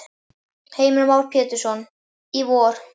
Heimir Már Pétursson: Í vor?